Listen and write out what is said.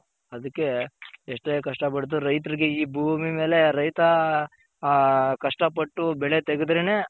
ಅದಕ್ಕೆ ಎಷ್ಟೆ ಕಷ್ಟ ಪಟ್ರು ರೈತರ್ಗೆ ಈ ಭೂಮಿ ಮೇಲೆ ರೈತ ಆ ಕಷ್ಟ ಪಟ್ಟು ಬೆಳೆ ತೆಗೆದ್ರೆನೆ